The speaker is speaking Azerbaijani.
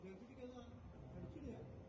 Hər şey tikəndi ya?